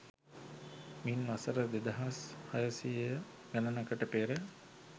මින් වසර දෙදහස් හයසියය ගණනකට පෙර